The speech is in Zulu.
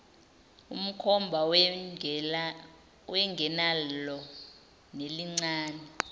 emkhomba wayengenalo nelincane